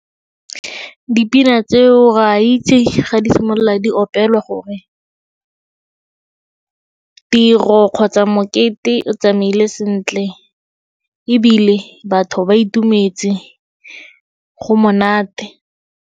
Dipina tseo re a itse ga di simolola di opelwa gore tiro kgotsa mokete o tsamaile sentle, ebile batho ba itumetse go monate.